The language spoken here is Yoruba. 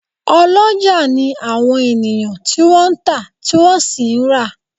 Oloja ni àwọn ènìyàn tí wọ́n ń ta, tí wọ́n sì ń ra